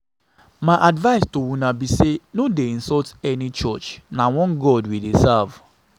My advice to una be say no dey insult any insult any church na one God we dey serve